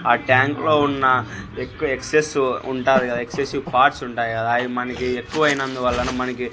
ఆ ట్యాంక్ లో ఉన్న ఎక్కువ ఎక్సెస్ ఉంటారు కదా ఎగ్సెసివ్ పార్ట్స్ ఉంటాయి కదా అవి మనకి ఎక్కువైనందువలన మనకి--